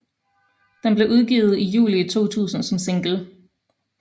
Den blev udgivet i juli 2000 som single